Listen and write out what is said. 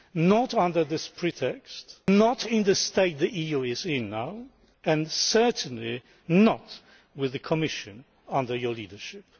not under this pretext, not in the state the EU is in now, and certainly not with the Commission under your leadership.